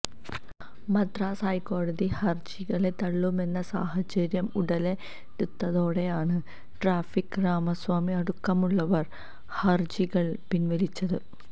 മദ്രാസ് ഹൈക്കോടതി ഹര്ജികള് തള്ളുമെന്ന സാഹചര്യം ഉടലെടുത്തതോടെയാണ് ട്രാഫിക് രാമസ്വാമി അടക്കമുള്ളവര് ഹര്ജികള് പിന്വലിച്ചത്